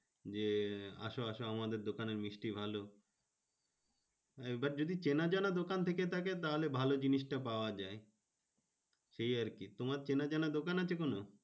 যে আসো আসো আমাদের দোকানের মিষ্টি ভালো। এইবার যদি চেনা জানা দোকান থেকে থাকে তাহলে ভালো জিনিসটা পাওয়া যায় এই আরকি। তোমার চেনা জানা দোকান আছে কোনো?